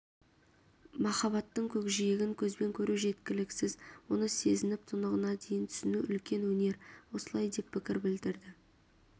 махаббаттың көкжиегін көзбен көру жеткіліксіз оны сезініп тұнығына дейін түсіну үлкен өнер осылай деп пікір білдірді